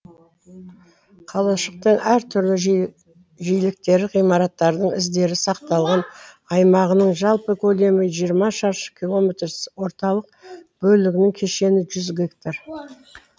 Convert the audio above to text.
қалашықтың әр түрлі жиіліктері ғимараттардың іздері сақталған аймағының жалпы көлемі жиырма шаршы километр орталық бөлігінің кешені жүз гектар